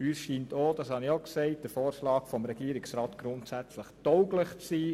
Uns scheint der Vorschlag des Regierungsrats, wie bereits gesagt, grundsätzlich tauglich zu sein.